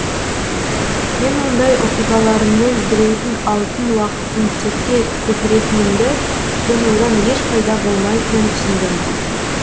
мен мұндай оқиғаларыммен біреудің алтын уақытын текке кетіретінімді және одан еш пайда болмайтынын түсіндім